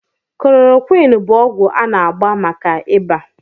Koloroqini bụ ọgwụ a na-agba maka ịba